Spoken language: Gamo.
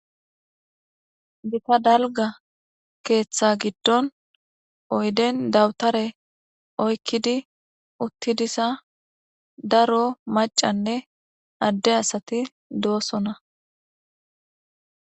Gita dalgga keeththa giddon oyden daputaare oykkidi utti diza daro maacanne adde asati doosona.